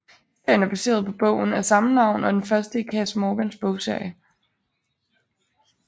Serien er baseret på bogen af samme navn og er den første i Kass Morgans bogserie